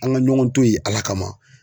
An ŋa ɲɔgɔn to ye Ala kama!